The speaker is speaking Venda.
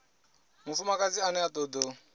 mufumakadzi ane a toda u